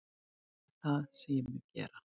Það er það sem ég mun gera